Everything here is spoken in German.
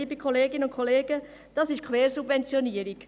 Liebe Kolleginnen und Kollegen, dies ist Quersubventionierung.